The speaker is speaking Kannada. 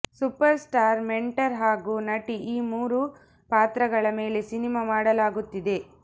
ಸೂಪರ್ ಸ್ಟಾರ್ ಮೆಂಟರ್ ಹಾಗೂ ನಟಿ ಈ ಮೂರು ಪಾತ್ರಗಳ ಮೇಲೆ ಸಿನಿಮಾ ಮಾಡಲಾಗುತ್ತಿದೆ